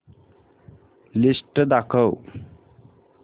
list दाखव